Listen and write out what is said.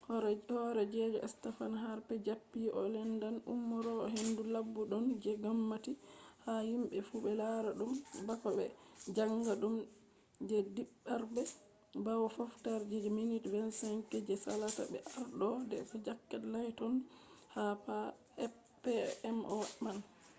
horeejo stephen harper japi o lendan umrore hendu laɓɗum je ngomnati ha himɓe fu ɓe lara dum bako be jaanga ɗum je ɗiɗabre bawo fottorge je minti 25 je salasa be ardo ndp jack layton ha pmo man